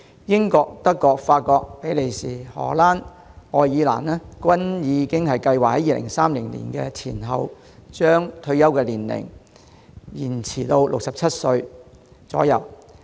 英國、德國、法國、比利時、荷蘭及愛爾蘭均已計劃在2030年前後，將退休年齡延展至67歲左右。